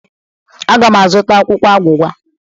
Aga m azụta akwụkwọ agwụgwa.